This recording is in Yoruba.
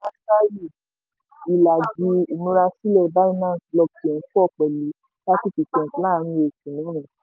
ìlàjì ìmúrasílẹ̀ binance blockchain pọ̀ pẹ̀lú thirty percent láàárín oṣù mẹ́rin.